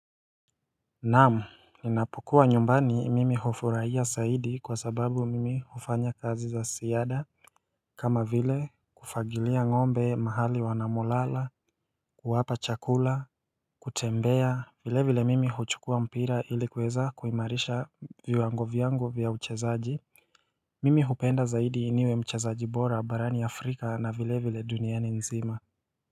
Naamu, ninapokuwa nyumbani mimi hufuraia saidi kwa sababu mimi ufanya kazi za siada kama vile kufagilia ngombe mahali wanamolala, kuwapa chakula, kutembea, vile vile mimi huchukua mpira ili kuweza kuimarisha viwango vyangu vya uchezaji Mimi hupenda zaidi niwe mchezaji bora barani Afrika na vile vile duniani nzima.